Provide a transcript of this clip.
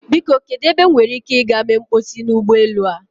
Biko kedu ebe m nwere ike ị gaa mee mkposi n'ụgbọelu a?